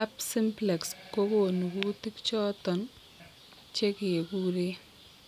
Herpes simplex kogonu kutik choton chekekuren